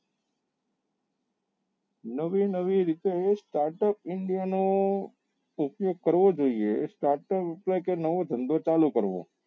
નવી નવી રીતે એનું start up india ના ઉપયોગ કરવો જોઈએ એ start up એટલે કે નવો ધંધો ચાલુ કરવો